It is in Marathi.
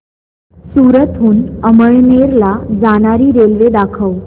सूरत हून अमळनेर ला जाणारी रेल्वे दाखव